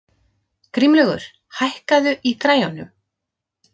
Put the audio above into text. Grímlaugur, hækkaðu í græjunum.